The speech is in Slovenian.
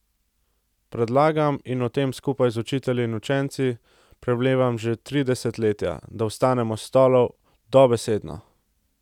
Predlagam, in o tem skupaj z učitelji in učenci premlevam že tri desetletja, da vstanemo s stolov, dobesedno!